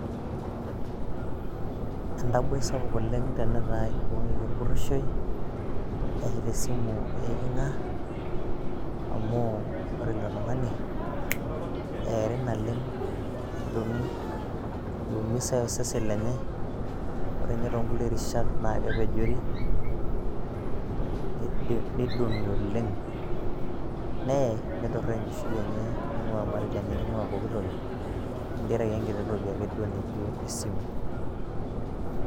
entaboi sapuk oleng' tinitaye orpurishoyoi etaa esimu eeking'a, amu ore ilotung'ani eeri naleng' imusaye osesen lenye naa kepejori, naye nituraa enkishui enye pesho tenkaraki esimu ake.